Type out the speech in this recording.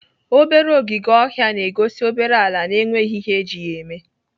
Obere ọgịge ọha na-egosi obere ala na-enweghị ihe eji ya eme.